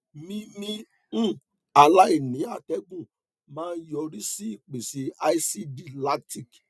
mímí um aláìní atẹgùn máa ń yọrí sí ìpèsè asidi lactic